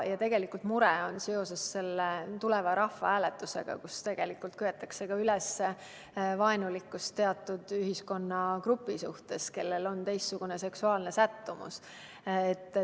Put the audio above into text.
Ja tegelikult on mure ka seoses tulevase rahvahääletusega, millega köetakse üles vaenulikkust teatud ühiskonnagrupi suhtes, kellel on teistsugune seksuaalne sättumus.